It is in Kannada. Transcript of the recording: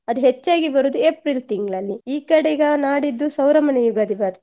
ಅದು ಹೆಚ್ಚಾಗಿ ಬರುದು April ತಿಂಗ್ಳಲ್ಲಿ. ಈ ಕಡೆ ಈಗ ನಾಡಿದ್ದು ಸೌರಮಾನ ಯುಗಾದಿ ಬರ್ತ್~